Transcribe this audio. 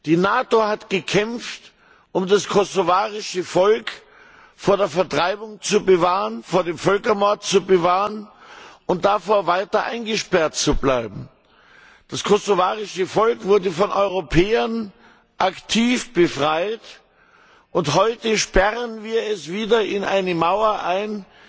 Die NATO hat gekämpft, um das kosovarische Volk vor der Vertreibung zu bewahren, vor dem Völkermord, und davor, weiter eingesperrt zu bleiben. Das kosovarische Volk wurde von Europäern aktiv befreit, und heute sperren wir es wieder hinter einer Mauer